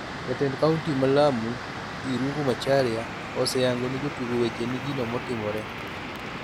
Jatend kaunti mar Lamu, Irungu Macharia, oseyango ne jotugo weche ni gino notimore.